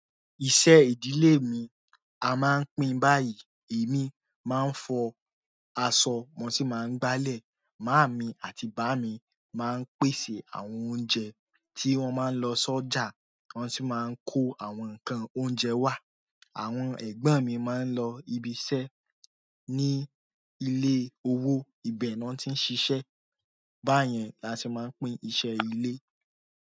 Iṣẹ́ ìdílé mi a máa ń pín báyìí. Èmi máa ń fọ aṣọ, mo sì máa ń gbálẹ̀. Máami àti bàámi máa ń pèsè àwọn oúnjẹ tí wọ́n máa ń lọ sọ́jà, wọ́n sì máa ń kó àwọn nǹkan oúnjẹ wá. Àwọn ẹ̀gbọ́n mi máa ń lọ ibi iṣẹ́ ní ilé owó, ibẹ̀ ni wọ́n ti ń ṣiṣẹ́. Báyẹn la ti máa ń pín iṣẹ́ ilé.